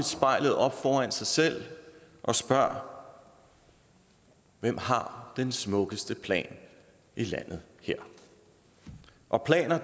spejl op foran sig selv og spørger hvem har den smukkeste plan i landet her og planer